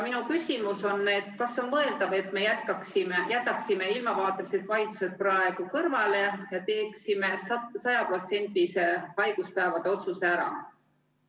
Minu küsimus on järgmine: kas oleks mõeldav, et me jätaksime ilmavaatelised vaidlused praegu kõrvale ja teeksime 100%-lise haiguspäevade hüvitamise otsuse ära?